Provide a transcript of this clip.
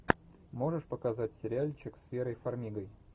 можешь показать сериальчик с верой фармигой